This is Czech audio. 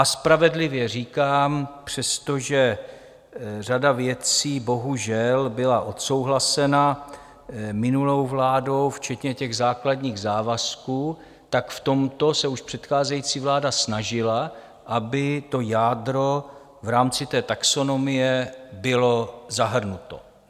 A spravedlivě říkám, přestože řada věcí bohužel byla odsouhlasena minulou vládou, včetně těch základních závazků, tak v tomto se už předcházející vláda snažila, aby to jádro v rámci té taxonomie bylo zahrnuto.